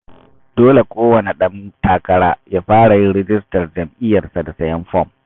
Dole kowane ɗan takara ya fara yin rijistar jam'iyyarsa da sayen fom.